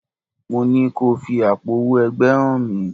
Mo ní ko fi àpò owó ẹgbẹ́ hàn mí!